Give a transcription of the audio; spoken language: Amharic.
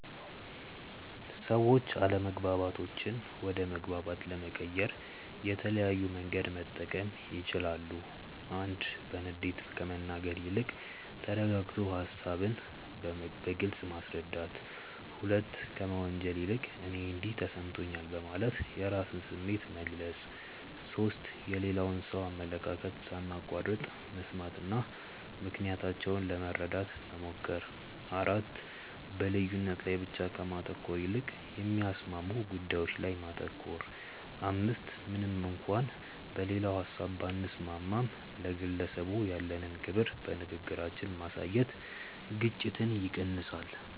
ሰዎች አለመግባባቶችን ወደ መግባባት ለመቀየር የተለያየ መንገድ መጠቀም ይችላሉ፦ 1. በንዴት ከመናገር ይልቅ ተረጋግቶ ሃሳብን በግልጽ ማስረዳት። 2. ከመወንጀል ይልቅ "እኔ እንዲህ ተሰምቶኛል" በማለት የራስን ስሜት መግለጽ። 3. የሌላውን ሰው አመለካከት ሳናቋርጥ መስማትና ምክንያታቸውን ለመረዳት መሞከር። 4. በልዩነት ላይ ብቻ ከማተኮር ይልቅ የሚያስማሙ ጉዳዮች ላይ ማተኮር። 5. ምንም እንኳን በሌላው ሀሳብ ባንስማማም፣ ለግለሰቡ ያለንን ክብር በንግግራችን ማሳየት ግጭትን ይቀንሳል።